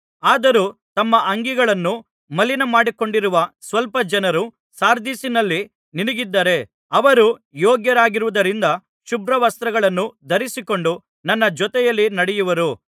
ಆದರೂ ತಮ್ಮ ಅಂಗಿಗಳನ್ನು ಮಲಿನ ಮಾಡಿಕೊಳ್ಳದಿರುವ ಸ್ವಲ್ಪ ಜನರು ಸಾರ್ದಿಸಿನಲ್ಲಿ ನಿನಗಿದ್ದಾರೆ ಅವರು ಯೋಗ್ಯರಾಗಿರುವುದರಿಂದ ಶುಭ್ರವಸ್ತ್ರಗಳನ್ನು ಧರಿಸಿಕೊಂಡು ನನ್ನ ಜೊತೆಯಲ್ಲಿ ನಡೆಯುವರು